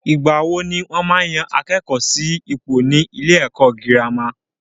Ìgbà wo ni wọ́n maá yan àwọn akẹ́kọ̀ọ́ sí ipò ni ilé ẹ̀kọ́ girama?